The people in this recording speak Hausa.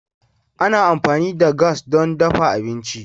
Ana amfani da gas don dafa abinci.